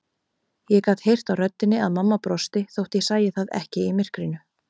Ég gat heyrt á röddinni að mamma brosti þótt ég sæi það ekki í myrkrinu.